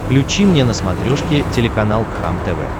включи мне на смотрешке телеканал кхлм тв